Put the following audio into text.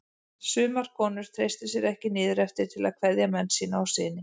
Sumar konur treystu sér ekki niður eftir til að kveðja menn sína og syni.